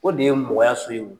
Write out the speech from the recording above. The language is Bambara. O de ye mɔgɔya so ye o.